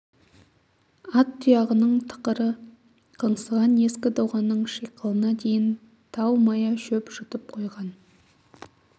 ат тұяғының тықыры қаңсыған ескі доғаның шиқылына дейін тау мая шөп жұтып қойған